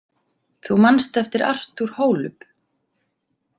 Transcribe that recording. Þú manst eftir Artur Holub.